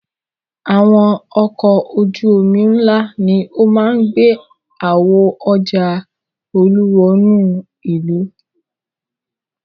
Àwọn ọkọ̀ ojú-omi ńlá ni ó máa ń gbé àwo ọjà Olú wọnú ìlú.